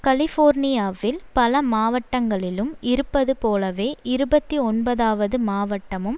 கலிபோர்னியாவில் பல மாவட்டங்களிலும் இருப்பது போலவே இருபத்தி ஒன்பதாவது மாவட்டமும்